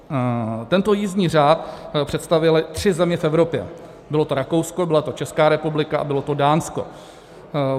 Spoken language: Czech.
Tento jízdní řád představily tři země v Evropě, bylo to Rakousko, byla to Česká republika a bylo to Dánsko.